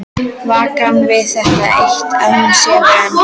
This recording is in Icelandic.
Vakna við það eitt að hún sefur enn.